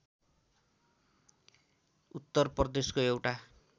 उत्तर प्रदेशको एउटा